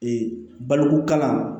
baloko kalan